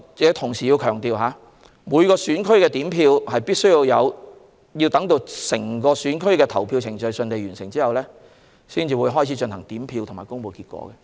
不過，我要強調一點，每個選區都要等到整個選區的投票程序順利完成後，才會進行點票和公布結果。